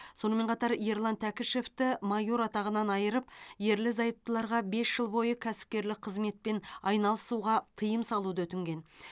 сонымен қатар ерлан тәкішевті майор атағынан айырып ерлі зайыптыларға бес жыл бойы кәсіпкерлік қызметпен айналысуға тыйым салуды өтінген